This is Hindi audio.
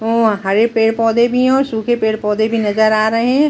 हरे पेड़- पौधे भी है और सूखे पेड़ -पौधे भी नजर आ रहे है ।